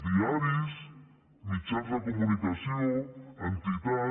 diaris mitjans de comunicació entitats